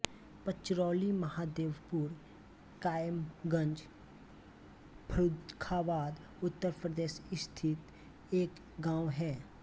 पचरौली महादेवपुर कायमगंज फर्रुखाबाद उत्तर प्रदेश स्थित एक गाँव है